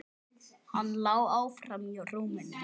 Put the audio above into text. Hann lá áfram í rúminu.